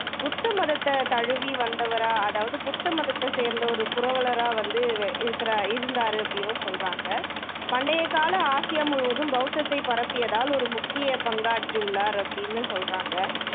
புத்த மடத்தை வந்து தழுவி வந்தவரா அதாவது புத்த மதத்தை சேர்ந்த ஒரு புரவலரா வந்து இவ் இருக்குறாரு இருந்தாரு அபடின்னும் சொல்றாங்க பண்டையக் கால ஆசியா முழுவதும் பௌத்தத்தைப் பரப்பியத்தில் ஒரு முக்கியப் பங்காற்றியுள்ளார் அப்படின்னும் சொல்றாங்க